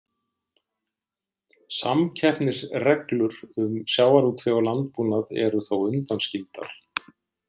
Samkeppnisreglur um sjávarútveg og landbúnað eru þó undanskildar.